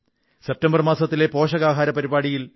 September മാസത്തിലെ പോഷകാഹാര പരിപാടിയിലും